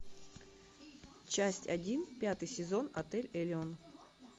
часть один пятый сезон отель элеон